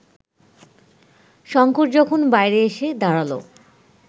শঙ্কর যখন বাইরে এসে দাঁড়াল